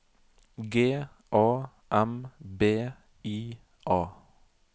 G A M B I A